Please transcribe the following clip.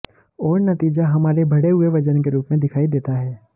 और नतीजा हमारे बढ़े हुए वज़न के रूप में दिखाई देता है